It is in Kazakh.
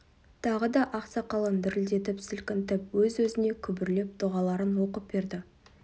тағы да ақ сақалын дірілдетіп сілкінтіп өз-өзіне күбірлеп дұғаларын оқып берді